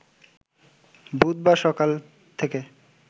বুধবার সকাল থেকে